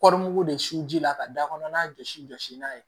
Kɔɔri mugu de su la ka da kɔnɔ n'a jɔsi jɔsi n'a ye